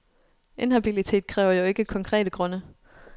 Inhabilitet kræver jo ikke konkrete grunde.